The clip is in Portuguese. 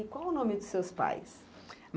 E qual o nome dos seus pais?